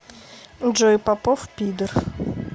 джой попов пидор